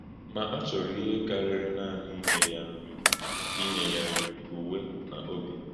Ma a chọrọ ihe kárìrị̀ nanị ínye ya nri, ínye ya nri, ùwè, na ǒbì.